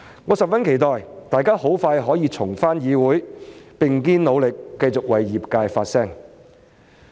我十分期待大家可很快重返議會，並肩努力，繼續為業界發聲。